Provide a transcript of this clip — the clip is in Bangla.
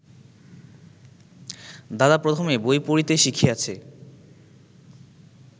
দাদা প্রথমে বই পড়িতে শিখিয়াছে